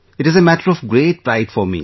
It is a matter of great pride for me